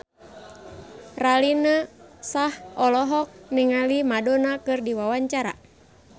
Raline Shah olohok ningali Madonna keur diwawancara